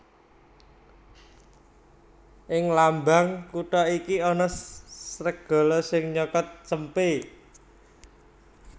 Ing lambang kutha iki ana sregala sing nyokot cempé